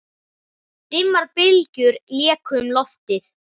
Dimmar bylgjur léku um loftið.